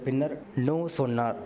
பின்னர் நோ சொன்னார்